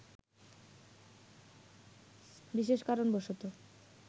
বিশেষ কারণবশত